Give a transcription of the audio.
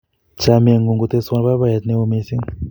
chamiet ng'un koteswa baibaiet neo mising